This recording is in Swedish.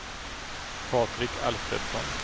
Patrik Alfredsson